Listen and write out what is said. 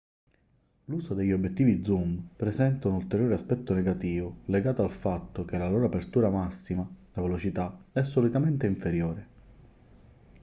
l'uso degli obiettivi zoom presenta un ulteriore aspetto negativo legato al fatto che la loro apertura massima la velocità è solitamente inferiore